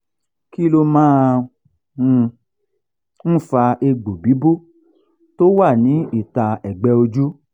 kí ló máa um ń fa egbo bibo tó wa ní ita egbe ojú?